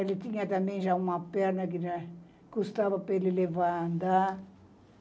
Ele tinha também já uma perna que já custava para ele levar a andar.